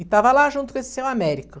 E estava lá junto com esse seu Américo.